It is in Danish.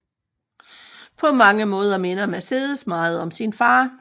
På mange måder minder Mercedes meget om sin far